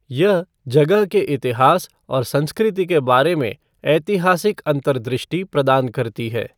यह जगह के इतिहास और संस्कृति के बारे में ऐतिहासिक अंतर्दृष्टि प्रदान करती है।